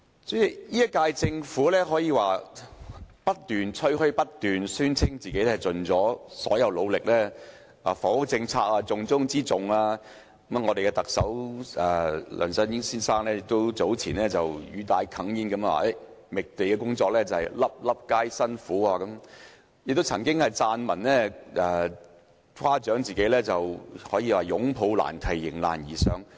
主席，這屆政府可說是不斷吹噓，不斷宣稱已盡一切努力、房屋政策是重中之重等；特首梁振英先生早前亦語帶哽咽地說"覓地工作，粒粒皆辛苦"，他亦曾撰文誇獎自己"擁抱難題，迎難而上"。